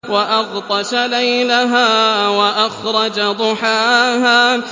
وَأَغْطَشَ لَيْلَهَا وَأَخْرَجَ ضُحَاهَا